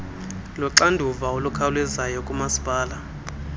luxanduva olukhawulezileyo kumasipala